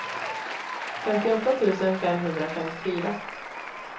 femtioåtta tusen femhundrafemtiofyra